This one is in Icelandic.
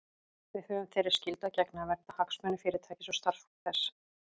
Við höfum þeirri skyldu að gegna að vernda hagsmuni Fyrirtækisins og starfsfólks þess.